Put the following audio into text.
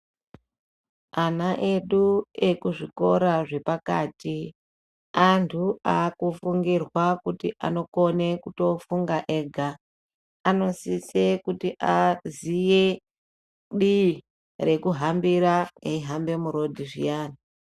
Ana edu ekuzvikora zvepakati antu akufungirwa kuti anokone kutofunga ega. Anosise kuti aziye divi rekuhambira eihamba murodhi zviyani.